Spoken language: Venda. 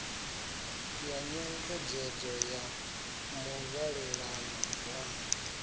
ya nyengedzedzo ya muvhalelano na